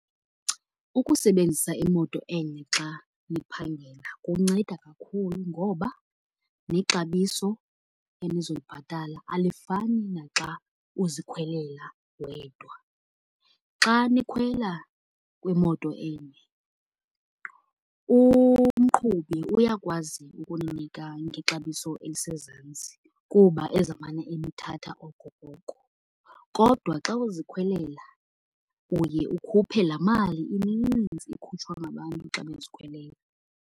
Ukusebenzisa imoto enye xa niphangela kunceda kakhulu ngoba nexabiso enizolibhatala alifani naxa uzikhwelela wedwa. Xa nikhwela kwimoto enye umqhubi uyakwazi ukuninika ngexabiso elisezantsi kuba ezawumane enithatha okokoko, kodwa xa uzikhwelela uye ukhuphe laa mali ininzi ikhutshwa ngabantu xa bezikhwelela.